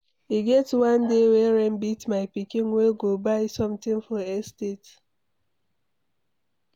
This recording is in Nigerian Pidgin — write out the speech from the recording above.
E get one day wey rain beat my pikin wey go buy something for estate